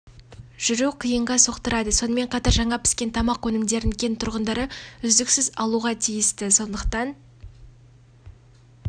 жүру қиынға соқтырады сонымен қатар жаңа піскен тамақ өнімдерін кент тұрғындары үздіксіз алуға тиісті сондықтан